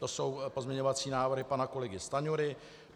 To jsou pozměňovací návrhy pana kolegy Stanjury.